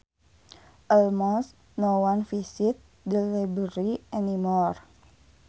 Almost no one visits the library anymore